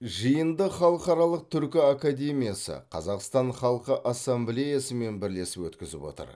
жиынды халықаралық түркі академиясы қазақстан халқы ассамблеясымен бірлесіп өткізіп отыр